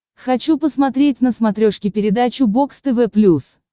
хочу посмотреть на смотрешке передачу бокс тв плюс